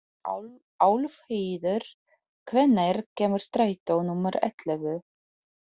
Álfheiður, hvenær kemur strætó númer ellefu?